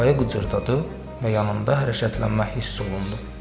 Çarpayı qıcırdadı və yanında hərəkətlənmə hiss olundu.